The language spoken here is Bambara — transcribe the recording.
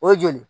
O ye joli ye